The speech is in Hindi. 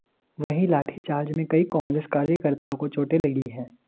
वहीं लाठीचार्ज में कई कांग्रेस कार्यकर्ताओं को चोटें लगी हैं